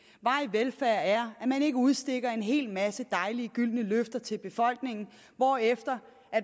velfærd er at man ikke udsteder en hel masse dejlige gyldne løfter til befolkningen hvorefter